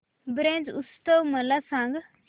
ब्रज उत्सव मला सांग